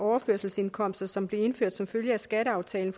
overførselsindkomster som blev indført som følge af skatteaftalen